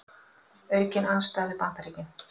Aukin andstaða við Bandaríkin